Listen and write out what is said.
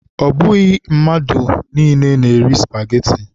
Ọ bụghị mmadụ na-eri spageti